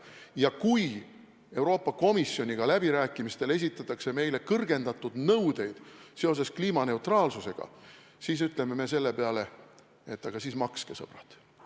Ja kui Euroopa Komisjoni läbirääkimistel esitatakse meile kõrgendatud nõudeid seoses kliimaneutraalsusega, siis me ütleme selle peale: aga siis makske, sõbrad!